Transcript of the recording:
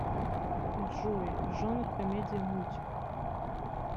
джой жанр комедия мультик